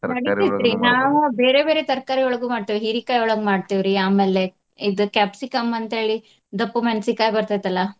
ನಾವ ಬೇರೆ ಬೇರೆ ತರಕಾರಿಯೊಳಗು ಮಾಡ್ತೇವಿ. ಹೀರಿಕಾಯಿಯೊಳಗ್ ಮಾಡ್ತೇವ್ರಿ ಆಮೇಲೆ ಇದ್ capsicum ಅಂತ ಹೇಳಿ ದಪ್ಪ ಮೆಣಸಿನಕಾಯಿ ಬರ್ತೈತಲ್ಲಾ.